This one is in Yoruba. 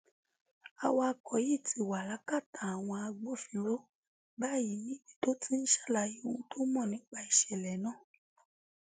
awakọ yìí ti wà lákàtà àwọn agbófinró báyìí níbi tó ti ń ṣàlàyé ohun tó mọ nípa ìṣẹlẹ náà